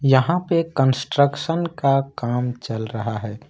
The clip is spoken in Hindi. यहां पर कंस्ट्रक्शन का काम चल रहा है।